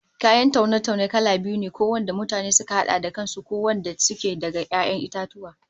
Kayan taune-taune kala biyu ne, ko wanda mutane suka hada da kan su, ko wadanda suke daga 'ya'yan itatuwa